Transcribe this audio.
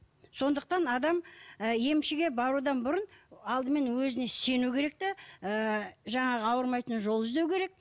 сондықтан адам ы емшіге барудан бұрын алдымен өзіне сену керек те ы жаңағы ауырмайтын жол іздеу керек